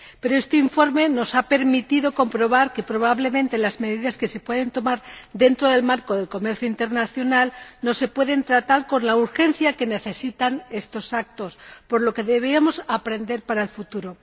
Pero este informe nos ha permitido comprobar que, probablemente, las medidas que se pueden tomar dentro del marco del comercio internacional no se pueden tratar con la urgencia que necesitan estos actos, por lo que deberíamos aprender para el futuro.